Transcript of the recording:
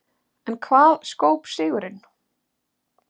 En hvað skóp sigurinn?